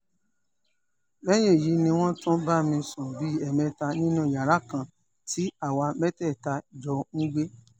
lẹ́yìn èyí ni wọ́n tún bá mi sùn bíi ẹ̀ẹ̀mẹta nínú yàrá kan tí àwa mẹ́tẹ̀ẹ̀ta jọ ń gbé